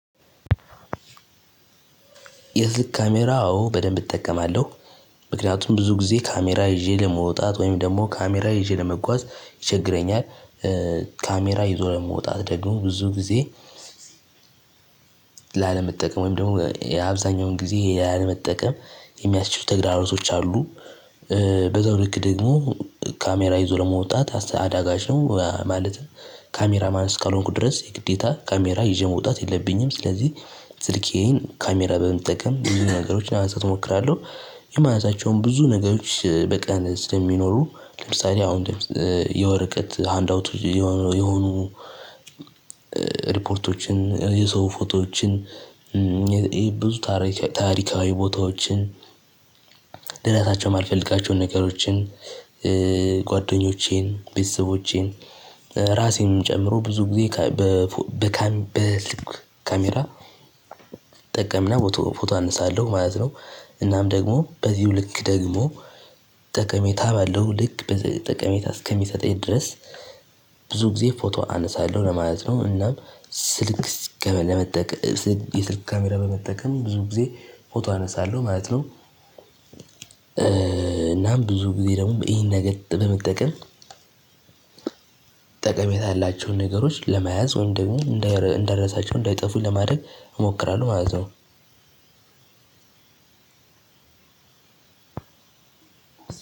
የስልክ ካሜራ አዎ በደንብ እጠቀማለሁ ምክንያቱም ብዙ ጊዜ ካሜራ ይዤ ለመውጣት ወይም ደግሞ ካሜራ ይዤ ለመጓዝ ይቸግረኛል። ካሜራ ይዞ መውጣት ደግሞ ብዙ ጊዜ ላለመጠቀም ወይም ደግሞ አብዛኛውን ጊዜ ላለመጠቀም የሚያስችሉ ተግራሮቶች አሉ። በዛው ልክ ደግሞ ካሜራ ይዞ ለመውጣት አዳጋች ነው ማለትም ካሜራ ማን እስካልሆንኩ ድረስ የግዴታ ካሜራ ይዤ መውጣት የለብኝም። ስለዚህ ስልኬን ካሜራ በመጠቀም ብዙ ነገሮች ለማንሳት እሞክራለሁ። የመነሳቸውን ብዙ ነገሮች በቀን ስለሚኖሩ ለምሳሌ አሁን የወረቀት ሃንድ አውቶች የሆኑ የሆኑ ሪፖርቶችን የሰው ፎቶዎችን ብዙ ታሪካዊ ቦታዎችን ልረሳቸው የማልፈልጋቸውን ነገሮችን ጓደኞቼን ቤተሰቦቼን ራሴን ጨምሮ ብዙ ጊዜ በስልክ ካሜራ እጠቀምና ፎቶ ፎቶ አንሳለሁ ማለት ነው። እናም ደግሞ በዚሁ ልክ ደግሞ ጠቀሜታ ባለው ልክ በጠቀሜታ እስከሚሰጠኝ ድረስ ብዙ ጊዜ ፎቶ አነሳለሁ ለማለት ነው። እናም ስልክ ለመጠቀም የስልክ ካሜራ በመጠቀም ብዙ ጊዜ ፎቶ አነሳለሁ ማለት ነው። እናም ብዙ ጊዜ ደግሞ ይሄን ነገር በመጠቀም ጠቀሜታ ያላቸውን ነገሮች ለመያዝ ወይም ደግሞ እንድልረሳቸው እንዳይጠፉ ለማድረግ እሞክራለሁ ማለት ነው።